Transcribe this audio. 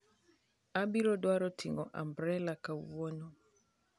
Abiro dwaro ting'o umbrela kawuono